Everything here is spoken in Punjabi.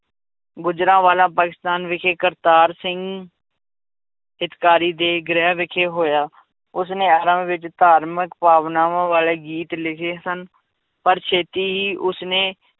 ਗੁਜਰਾਂਵਾਲਾ ਪਾਕਿਸਤਾਨ ਵਿਖੇ ਕਰਤਾਰ ਸਿੰਘ ਹਿੱਤਕਾਰੀ ਦੇ ਗ੍ਰਹਿ ਵਿਖੇ ਹੋਇਆ, ਉਸਨੇ ਵਿੱਚ ਧਾਰਮਿਕ ਭਾਵਨਾਵਾਂ ਵਾਲੇ ਗੀਤ ਲਿਖੇ ਸਨ, ਪਰ ਛੇਤੀ ਹੀ ਉਸਨੇ